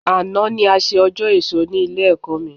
Àná ni a ṣe ọjọ́ èso ní Ilé-ẹ̀kọ́ mi